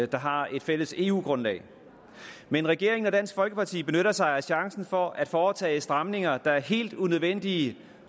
der har et fælles eu grundlag men regeringen og dansk folkeparti benytter sig af chancen for at foretage stramninger der er helt unødvendige